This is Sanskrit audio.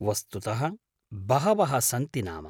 वस्तुतः बहवः सन्ति नाम।